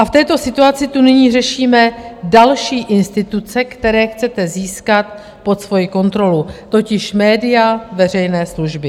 A v této situaci tu nyní řešíme další instituce, které chcete získat pod svoji kontrolu, totiž média veřejné služby.